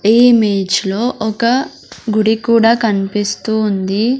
ఈ ఇమేజ్ లో ఒక గుడి కూడా కన్పిస్తూ ఉంది.